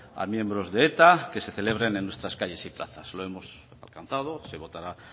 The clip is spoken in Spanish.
a los miembros de eta que se celebren en nuestras calles y plazas lo hemos alcanzado se votará